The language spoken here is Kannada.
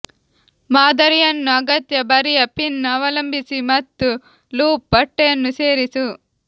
ಮಾದರಿಯನ್ನು ಅಗತ್ಯ ಬರಿಯ ಪಿನ್ ಅವಲಂಬಿಸಿ ಮತ್ತು ಲೂಪ್ ಬಟ್ಟೆಯನ್ನು ಸೇರಿಸು